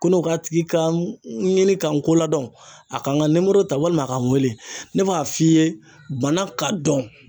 Ko ne k'a tigi ka n ɲini ka n ko ladɔn, a kan ka ta walima a ka n wele ne b'a f'i ye bana k'a dɔn